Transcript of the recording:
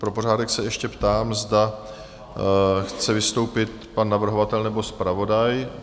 Pro pořádek se ještě ptám, zda chce vystoupit pan navrhovatel nebo zpravodaj?